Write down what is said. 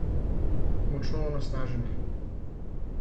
Močno onesnaženi.